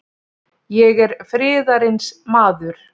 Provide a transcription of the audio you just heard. Ég er friðarins maður.